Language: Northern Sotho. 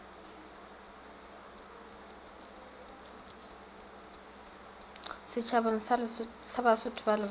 setšhabeng sa basotho ba lebowa